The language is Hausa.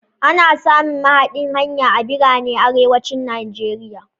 Ana samun mahaɗan hanya a biranen arewacin Nigeria.